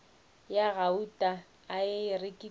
ya gauta a e rekilego